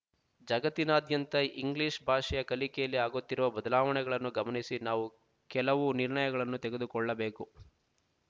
ಜಗತ್ತಿನಾದ್ಯಂತ ಇಂಗ್ಲೀಷ್ ಭಾಷೆಯ ಕಲಿಕೆಯಲ್ಲಿ ಆಗುತ್ತಿರುವ ಬದಲಾವಣೆಗಳನ್ನು ಗಮನಿಸಿ ನಾವು ಕೆಲವು ನಿರ್ಣಯಗಳನ್ನು ತೆಗೆದುಕೊಳ್ಳಬೇಕು